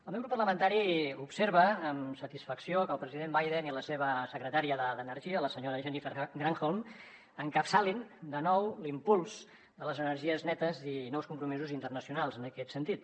el meu grup parlamentari observa amb satisfacció que el president biden i la seva secretària d’energia la senyora jennifer granholm encapçalin de nou l’impuls de les energies netes i nous compromisos internacionals en aquest sentit